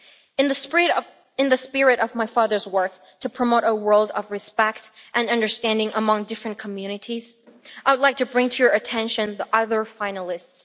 In the spirit of my father's work to promote a world of respect and understanding among different communities, I would like to bring to your attention the other finalists.